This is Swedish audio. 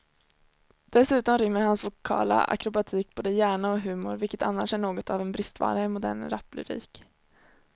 Dessutom rymmer hans vokala akrobatik både hjärna och humor, vilket annars är något av en bristvara i modern raplyrik.